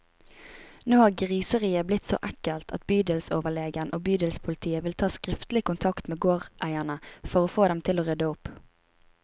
Nå har griseriet blitt så ekkelt at bydelsoverlegen og bydelspolitiet vil ta skriftlig kontakt med gårdeierne, for å få dem til å rydde opp.